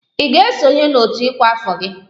Ị ga-esonye n'otu ọkwa afọ gị!